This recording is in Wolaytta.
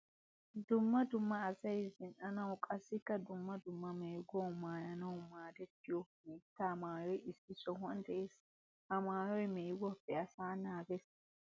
Dumma dumma asay zina'anawu qassikka dumma dumma meeguwawu maayanawu maadettiyo hiitta maayoy issi sohuwan de'ees. Ha maayoy meeguwappe asaa naages.